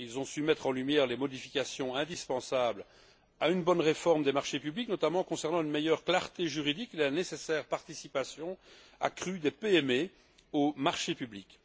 Ils ont su mettre en lumière les modifications indispensables à une bonne réforme des marchés publics, notamment concernant une meilleure clarté juridique et la nécessaire participation accrue des PME aux marchés publics.